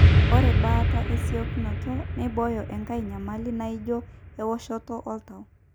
ore baata esiokinoto nimbooyo enkai nyamali naaijo eoshoto oltau